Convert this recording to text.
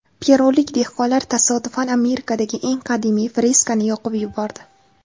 Perulik dehqonlar tasodifan Amerikadagi eng qadimiy freskani yoqib yubordi.